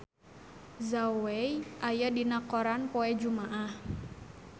Zhao Wei aya dina koran poe Jumaah